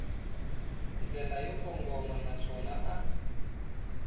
ndlela yo kongoma naswona a